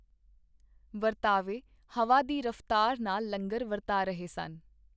ਵਰਤਾਵੇ ਹਵਾ ਦੀ ਰਫ਼ਤਾਰ ਨਾਲ ਲੰਗਰ ਵਰਤਾ ਰਹੇ ਸਨ.